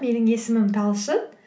менің есімім талшын